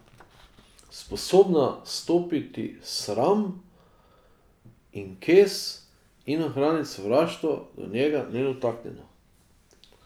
Sposobna stopiti sram in kes in ohraniti sovraštvo do njega nedotaknjeno.